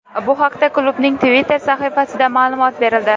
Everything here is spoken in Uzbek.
Bu haqda klubning Twitter sahifasida ma’lumot berildi .